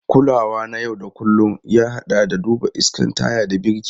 Kulawa na yau da kullun, ya haɗa da duba iskan taya da birki.